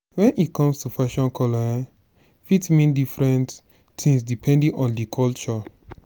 when e comes to fashion colour um fit mean different things depending on di culture